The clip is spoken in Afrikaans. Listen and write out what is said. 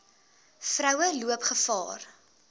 vroue loop gevaar